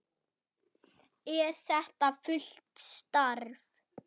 Er þetta fullt starf?